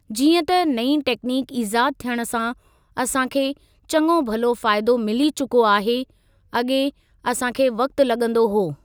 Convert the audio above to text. जीअं त नईं टेकनीक ईज़ाद थियण सां असां खे चङो भलो फ़ाइदो मिली चुको आहे अॻे असां खे वक़्ति लॻंदो हो।